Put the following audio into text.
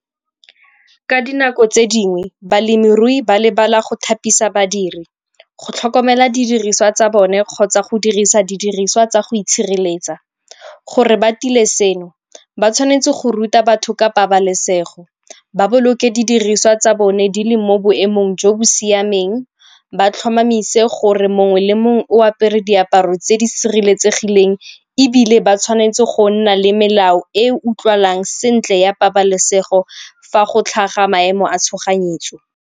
Ka dinako tse dingwe balemirui ba lebala go thapisa badiri go tlhokomela didiriswa tsa bone kgotsa go dirisa didiriswa tsa go itshireletsa. Gore ba tile seno, ba tshwanetse go ruta batho ka pabalesego ba boloke didiriswa tsa bone di le mo boemong jo bo siameng, ba tlhomamise gore mongwe le mongwe o apere diaparo tse di sireletsegileng ebile ba tshwanetse go nna le melao e utlwalang sentle ya pabalesego fa go tlhaga maemo a tshoganyetso.